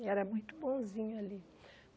E era muito bonzinho ali.